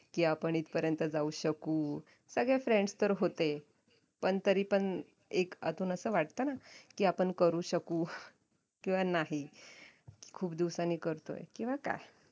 की आपण इथपर्यंत जाऊ शकू सगळे friends तर होते पण तरी पण एक आतून असं वाटतना की आपण करू शकू किंवा नाही की खूप दिवसांनी करतोय किंवा काय